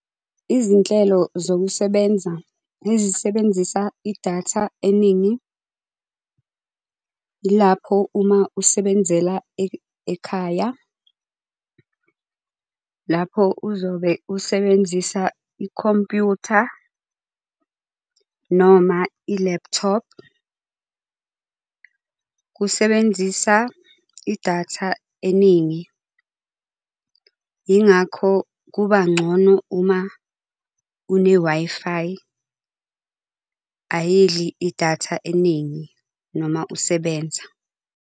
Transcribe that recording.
Izinhlelo zokusebenza ezisebenzisa idatha eningi, iapho uma usebenzela ekhaya. Lapho uzobe usebenzisa ikhompuyutha, noma ilephuthophu. Kusebenzisa idatha eningi. Ingakho kuba ngcono uma une-Wi-Fi, ayidli idatha eningi noma usebenza.